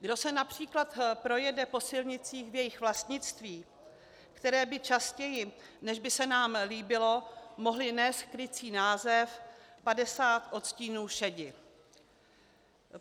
Kdo se například projede po silnicích v jejich vlastnictví, které by častěji, než by se nám líbilo, mohly nést krycí název 50 odstínů šedi.